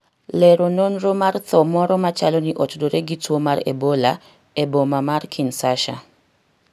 lero nonro mar tho moro machalo ni otudore gi tuo mar Ebola e boma mar Kinsasha